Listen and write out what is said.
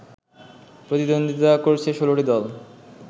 প্রতিদ্বন্দ্বিতা করছে ১৬টি দল